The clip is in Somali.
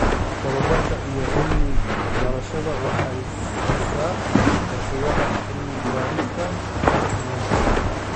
Tababarka iyo Cilmi-baarista Waxay siisaa fursadaha cilmi-baarista sayniska.